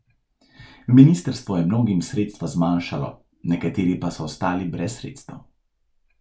Ministrstvo je mnogim sredstva zmanjšalo, nekateri pa so ostali brez sredstev.